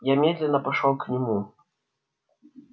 я медленно пошёл к нему